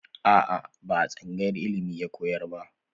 A'a, ba a tsangayar ilimi ya koyar ba.